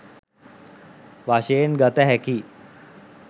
වශයෙන් ගත හැකියි